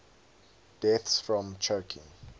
deaths from choking